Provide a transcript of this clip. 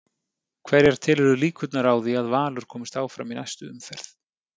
Hverjar telurðu líkurnar á því að Valur komist áfram í næstu umferð?